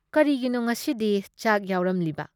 ꯀꯔꯤꯒꯤꯅꯣ ꯉꯁꯤꯗꯤ ꯆꯥꯛ ꯌꯥꯎꯔꯝꯂꯤꯕ ?